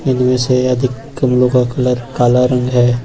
इनमें से अधिक गमलों का कलर काल रंग है।